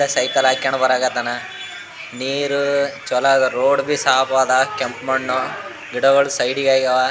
Cycle ಹಾಕೊಂಡ್ ಬರಕತ್ತಾನ ನೀರು ಚಲೋ ಅದ ರೋಡ್ ಸಾಪ್ವಾದ ಕೆಂಪ್ ಮಣ್ಣು ಗಿಡಗಳು ಸೈಡ್ ಗಾವ.